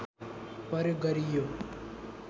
प्रयोग गरियो